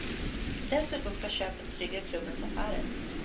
Dessutom ska köpet trygga klubbens affärer.